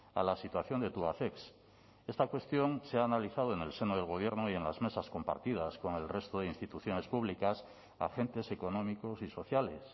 a la situación de tubacex esta cuestión se ha analizado en el seno del gobierno y en las mesas compartidas con el resto de instituciones públicas agentes económicos y sociales